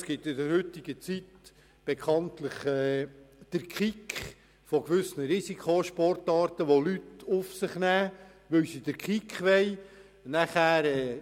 In der heutigen Zeit gehen die Menschen in Risikosportarten Risiken ein, um einen Kick zu erfahren.